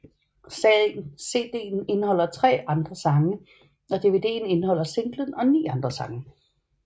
CDen indeholder tre andre sangen og DVDen indeholder singlen og ni andre sange